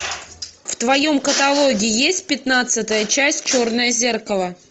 в твоем каталоге есть пятнадцатая часть черное зеркало